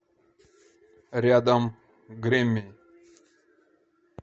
рядом грэмми